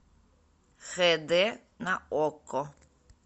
хд на окко